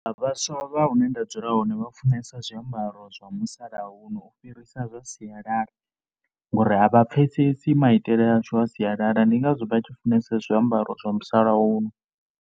Vhaswa vha hune nda dzula hone vha funesa zwiambaro zwa musalauno u fhirisa zwa sialala ngori a vha pfhesesi maitele ashu a sialala ndi ngazwo vha tshi funesa zwiambaro zwa musalauno.